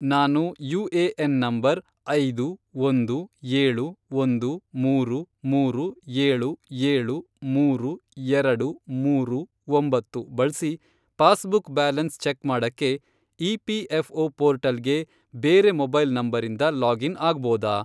ನಾನು UAN number , ಐದು, ಒಂದು, ಏಳು, ಒಂದು, ಮೂರು, ಮೂರು, ಏಳು, ಏಳು, ಮೂರು, ಎರಡು, ಮೂರು, ಒಂಬತ್ತು, ಬಳ್ಸಿ ಪಾಸ್ಬುಕ್ ಬ್ಯಾಲೆನ್ಸ್ ಚೆಕ್ ಮಾಡಕ್ಕೆ ಇಪಿಎಫ಼್ಒ ಪೋರ್ಟಲ್ಗೆ ಬೇರೆ ಮೊಬೈಲ್ ನಂಬರಿಂದ ಲಾಗಿನ್ ಆಗ್ಬೋದಾ?